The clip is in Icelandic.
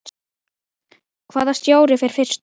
Hvaða stjóri fer fyrstur?